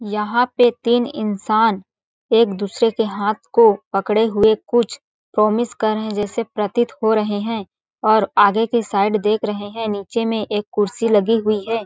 यहाँ पे तीन इंसान एक दूसरे के हाथ को पकड़े हुए कुछ प्रॉमिस कर रहे है जैसे प्रतीत हो रहे है और आगे की साइड देख रहे है नीचे में एक कुर्सी लगी हुई है।